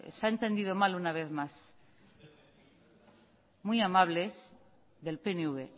se ha entendido mal una vez más muy amables del pnv